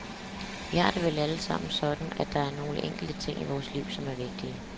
Vi har det vel allesammen sådan, at der er nogle enkelte ting i vores liv som er vigtige.